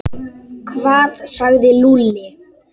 Hvað sagði Lúlli?